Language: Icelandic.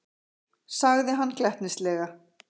sagði hann glettnislega.